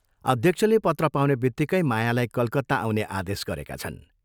अध्यक्षले पत्र पाउनेबित्तिकै मायालाई कलकत्ता आउने आदेश गरेका छन्।